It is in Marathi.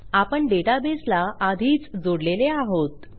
आपण डेटाबेसला आधीच जोडलेले आहोत